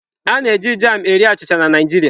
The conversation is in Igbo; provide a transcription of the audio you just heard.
A na-eji jam na-eri achịcha na Naijiriaa.